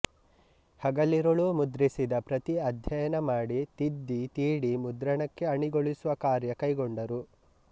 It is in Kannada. ಹಗಲಿರುಳು ಮುದ್ರಿಸಿದ ಪ್ರತಿ ಅಧ್ಯಯನ ಮಾಡಿ ತಿದ್ದಿ ತೀಡಿ ಮುದ್ರಣಕ್ಕೆ ಅಣಿಗೊಳಿಸುವ ಕಾರ್ಯ ಕೈಗೊಂಡರು